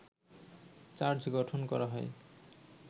charge গঠন করা হয়